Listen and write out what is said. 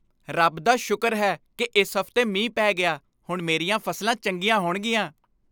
ਰੱਬ ਦਾ ਸ਼ੁਕਰ ਹੈ ਕਿ ਇਸ ਹਫ਼ਤੇ ਮੀਂਹ ਪੈ ਗਿਆ। ਹੁਣ ਮੇਰੀਆਂ ਫ਼ਸਲਾਂ ਚੰਗੀਆਂ ਹੋਣਗੀਆਂ।